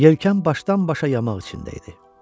Yelkən başdan-başa yamaq içində idi.